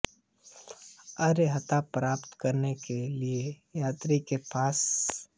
अर्हता प्राप्त करने के लिए यात्री के पास